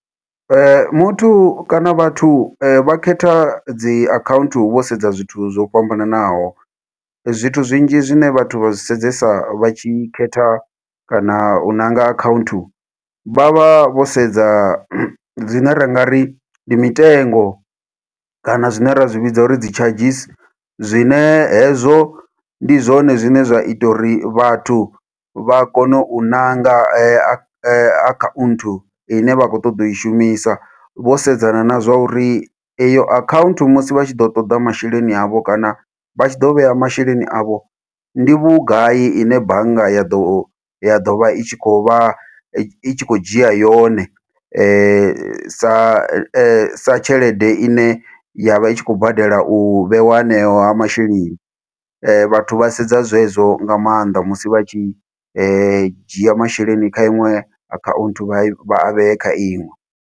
Muthu kana vhathu vha khetha dzi akhaunthu vho sedza zwithu zwo fhambananaho. Zwithu zwinzhi zwine vhathu vha zwi sedzesa vha tshi khetha, kana u ṋanga account, vha vha vho sedza zwine ra nga ri ndi mitengo, kana zwine ra zwi vhidza uri dzi charges. Zwine hezwo ndi zwone zwine zwa ita uri vhathu vha kone u ṋanga akhaunthu ine vha khou ṱoḓa u i shumisa. Vho sedzana na zwa uri iyo akhauntu musi vha tshi ḓo ṱoḓa masheleni avho, kana vha tshi ḓo vhea masheleni avho, ndi vhugai ine bannga ya ḓo ya ḓo vha i tshi khou vha, i tshi khou dzhia yone. Sa sa tshelede ine ya vha i tshi khou badela u vheiwa haneyo masheleni. Vhathu vha sedza zwe zwo nga maanḓa musi vha tshi dzhia masheleni kha iṅwe akhaunthu vha i, vha i vhe e kha iṅwe.